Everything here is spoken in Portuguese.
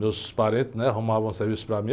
Meus parentes, né, arrumavam serviço para mim.